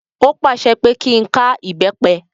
Ó pàṣẹ pé kí n ká ìbẹ́pẹ.